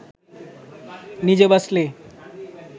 নিজে বাঁচলে